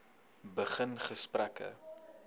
begin gesprekke